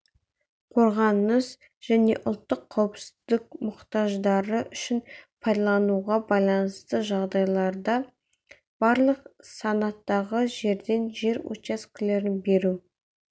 қорғаныс және ұлттық қауіпсіздік мұқтаждары үшін пайдалануға байланысты жағдайларда барлық санаттағы жерден жер учаскелерін беру